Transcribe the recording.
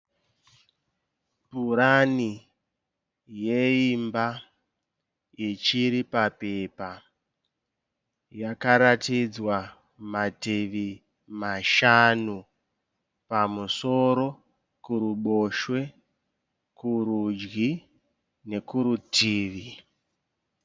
Purani yeimba ichiri papepa. Yakataridzwa mativi mashanu. Pamusoro, kuruboshwe, kurudyi nekurutivi.